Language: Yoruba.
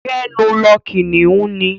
Gbẹ́nu lọ! Kìnnìún ni.